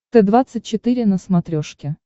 т двадцать четыре на смотрешке